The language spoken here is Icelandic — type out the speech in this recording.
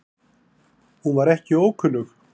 Hún var ekki ókunnug